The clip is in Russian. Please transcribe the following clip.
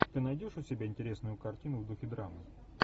ты найдешь у себя интересную картину в духе драмы